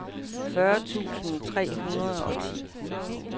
fyrre tusind tre hundrede og ti